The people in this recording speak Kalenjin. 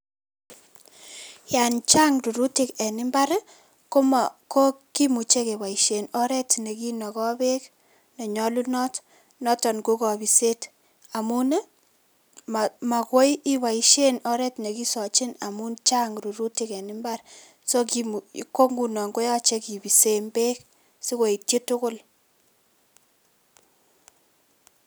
Yan chang' rurutik en mbar komo ko kimuche keboisien oret nekinoko beek nenyolunot noton ko kobiset amun ii mo mokoi iboisien oret nekisochin beek amun chang' rurutik en mbar so kimuche ko ngunon koyoche beek sikoityi tugul.